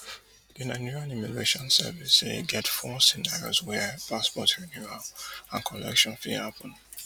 di nigerian immigration service say e get four scenarios wia passport renewal and collection fit happun